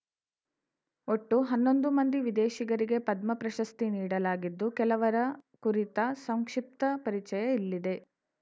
ಒಟ್ಟು ಹನ್ನೊಂದು ಮಂದಿ ವಿದೇಶಿಗರಿಗೆ ಪದ್ಮ ಪ್ರಶಸ್ತಿ ನೀಡಲಾಗಿದ್ದು ಕೆಲವರ ಕುರಿತ ಸಂಕ್ಷಿಪ್ತ ಪರಿಚಯ ಇಲ್ಲಿದೆ